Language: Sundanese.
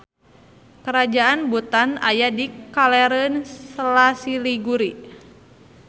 Karajaan Bhutan aya di kalereun Sela Siliguri.